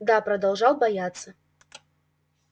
да продолжал бояться